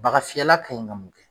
Bagafiyɛla kan ɲi ka mun kɛ?